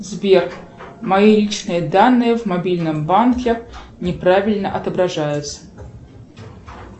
сбер мои личные данные в мобильном банке неправильно отображаются